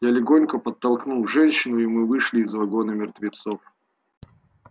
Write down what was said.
я легонько подтолкнул женщину и мы вышли из вагона мертвецов